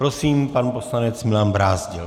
Prosím, pan poslanec Milan Brázdil.